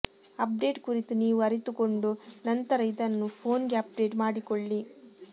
update ಕುರಿತು ನೀವು ಅರಿತುಕೊಂಡು ನಂತರ ಇದನ್ನು ಫೋನ್ಗೆ ಅಪ್ಡೇಟ್ ಮಾಡಿಕೊಳ್ಳಿ